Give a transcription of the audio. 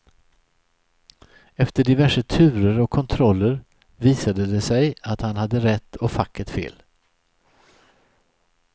Efter diverse turer och kontroller visade det sig att han hade rätt och facket fel.